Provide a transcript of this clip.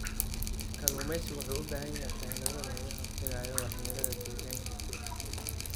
Kalluumaysigu wuxuu u baahan yahay xeelado lagaga hortagayo waxyeelada deegaanka.